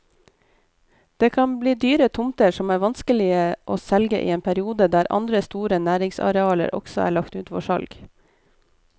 Det kan bli dyre tomter som er vanskelige å selge i en periode der andre store næringsarealer også er lagt ut for salg.